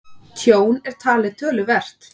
Tjón er talið töluvert